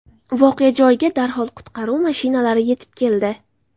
Voqea joyiga darhol qutqaruv mashinalari yetib keldi.